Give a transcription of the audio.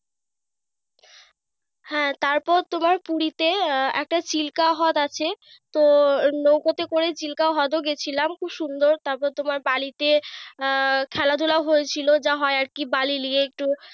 হ্যাঁ তারপর তোমার পুরিতে একটা চিল্কাহ্রদ আছে। তো নৈকাতে করে চিল্কাহ্রদ গেছিলাম খুব সুন্দর। তারপর তোমার বালি আহ খেলাধুলা হয়েছিল যা হয় আর কি বালি লিয়ে।